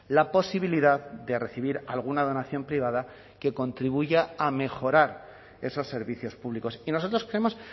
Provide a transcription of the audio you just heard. la posibilidad de recibir alguna donación privada que contribuya a mejorar esos servicios públicos y nosotros creemos